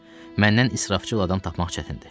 Məndən israfçıl adam tapmaq çətindir.